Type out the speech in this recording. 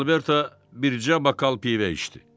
Alberto bircə bakal pivə içdi.